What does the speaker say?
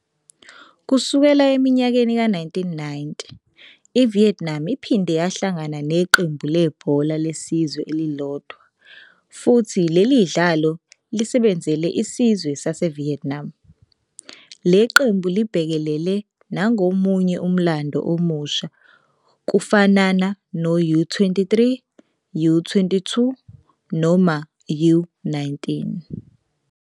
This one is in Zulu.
Kusukela eminyakeni ka-1990, i-Vietnam iphinde yahlangana neqembu lebhola lesizwe elilodwa, futhi lelidlalo lisebenzele isizwe saseVietnam. Le qembu libhekelele nangomunye umlando omusha kufanana no-U-23, U-22 noma U-19.